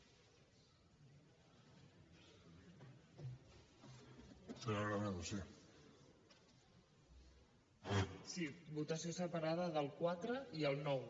sí votació separada del quatre i el nou